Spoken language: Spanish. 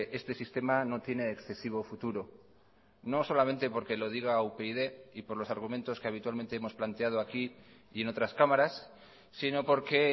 este sistema no tiene excesivo futuro no solamente porque lo diga upyd y por los argumentos que habitualmente hemos planteado aquí y en otras cámaras sino porque